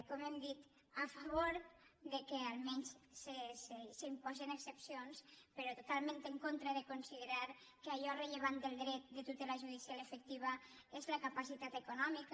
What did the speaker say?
com hem dit a favor que almenys s’imposen excepcions però totalment en contra de considerar que allò rellevant del dret de tutela judicial efectiva és la capacitat econòmica